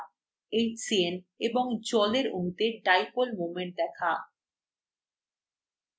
hcn এবং জলের অণুতে dipole moment দেখা